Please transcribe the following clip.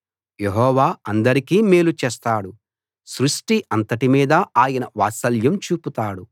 యెహోవా అందరికీ మేలు చేస్తాడు సృష్టి అంతటి మీదా ఆయన వాత్సల్యం చూపుతాడు